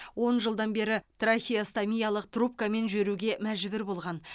он жылдан бері трахеостомиялық трубкамен жүруге мәжбүр болған